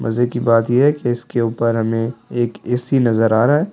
मजे की बात ये है कि इसके ऊपर हमें एक ए_सी नजर आ रहा है।